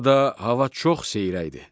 Burada hava çox seyrəkdir.